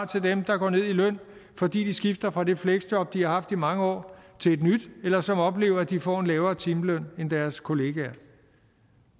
til dem der går ned i løn fordi de skifter fra det fleksjob de har haft i mange år til et nyt eller som oplever at de får en lavere timeløn end deres kollegaer